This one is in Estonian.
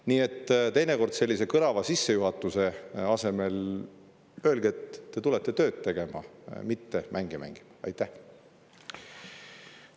Nii et teinekord öelge sellise kõlava sissejuhatuse asemel, et te tulete tööd tegema, mitte mänge mängima.